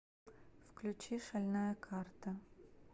включи шальная карта